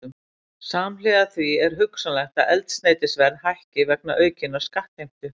Samhliða því er hugsanlegt að eldsneytisverð hækki vegna aukinnar skattheimtu.